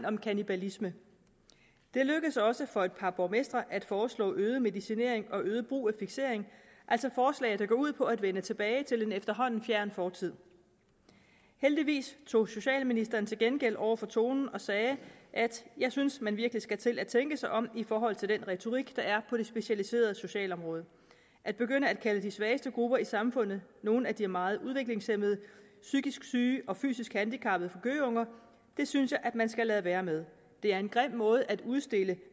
om kannibalisme det lykkedes også for et par borgmestre at foreslå øget medicinering og øget brug af fiksering altså forslag der går ud på at vende tilbage til en efterhånden fjern fortid heldigvis tog socialministeren til genmæle over for tonen og sagde jeg synes man virkelig skal til at tænke sig om i forhold til den retorik der er på det specialiserede socialområde at begynde at kalde de svageste grupper i samfundet nogle af de meget udviklingshæmmede psykisk syge og fysisk handicappede gøgeunger det synes jeg man skal lade være med det er en grim måde at udstille